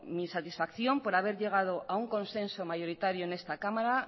mi satisfacción por haber llegado a un consenso mayoritario en esta cámara